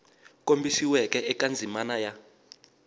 kombisiweke eka ndzimana ya a